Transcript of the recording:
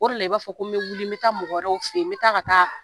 O de la i b'a fɔ ko n bɛ wili, n bɛ taa mɔgɔ wɛrɛw fɛ yen. N bɛ taa ka taa